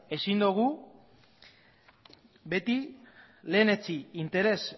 ezin dugu beti lehenetsi interes